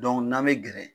n'an bɛ gɛrɛ